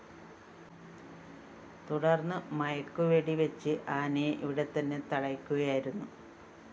തുടര്‍ന്ന് മയക്കുവെടി വച്ച് ആനയെ ഇവിടെത്തന്നെ തളയ്ക്കുകയായിരുന്നു